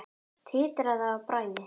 Titraði af bræði.